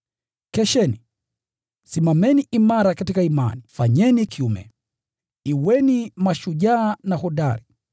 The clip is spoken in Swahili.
Kesheni, simameni imara katika imani, fanyeni kiume, kuweni mashujaa kuweni hodari.